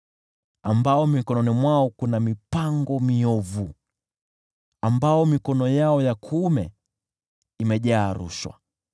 ambao mikononi mwao kuna mipango miovu, ambao mikono yao ya kuume imejaa rushwa.